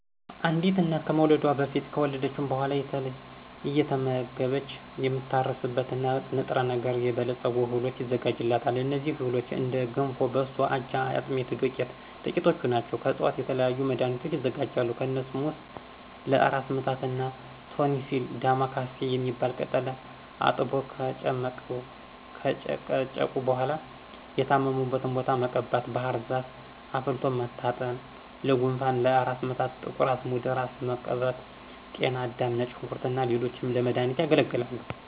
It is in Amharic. አንዲት እናት ከመውለዷ በፊት ከወለደች በኋላ አየተመገበች የምትታረስበትን በ ንጥረ ነገር የበለፀጉ እህሎች ይዘጋጁላታል። እነዚህ እህሎችም እንደ ገንፎ፣ በሶ፣ አጃ፣ የአጥሚት ዱቄት ጥቂቶቹ ናቸው። ከዕፅዋቶች የተለያዩ መድኋኒቶች ይዘጋጃሉ። ከነሱም ውስጥ ለ እራስ ምታት እና ቶንሲል ዳማ ካሴ የሚባል ቅጠል አጥቦ ከጨቀጨቁ በኋላ የታመሙበትን ቦታ መቀባት፣ ባህርዛፍ አፍልቶ መታጠን ለጉንፋን፣ ለ እራስ ምታት ጥቁር አዝሙድ እራስን መቀባት፣ ጤና አዳም፣ ነጭ ሽንኩርት እና ሌሎችም ለመዳኒትነት ያገለግላሉ።